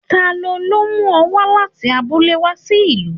Talọ́ lo mu ọ wa láti abúlé sí ìlú?